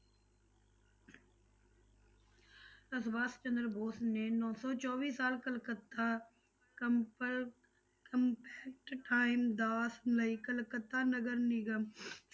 ਸੁਭਾਸ਼ ਚੰਦਰ ਬੋਸ ਨੇ ਨੋਂ ਸੌ ਚੌਵੀ ਸਾਲ ਕਲਕੱਤਾ compact time ਦਾ ਕਲਕੱਤਾ ਨਗਰ ਨਿਗਮ